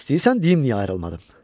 İstəyirsən deyim niyə ayrılmadım?